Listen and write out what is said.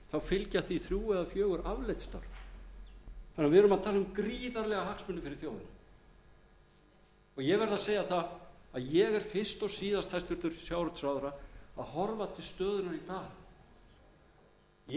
fylgja því þrír eða fjögur afleidd störf þannig að við erum að tala um gríðarlega hagsmuni fyrir þjóðina ég verð að segja það að ég er fyrst og síðast hæstvirtur sjávarútvegsráðherra að horfa til stöðunnar í dag ég